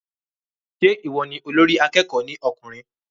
Se ìwọ ni olórí akẹ́kọ̀ọ́ ní ọkùnrin?